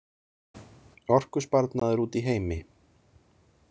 Orkusparnaður úti í heimi.